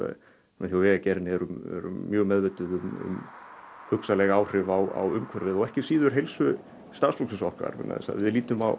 við hjá Vegagerðinni erum mjög meðvituð um hugsanleg áhrif á umhverfið og ekki síður á heilsu starfsfólks okkar við lítum á